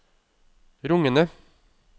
rungende